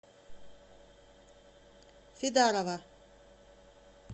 фидарова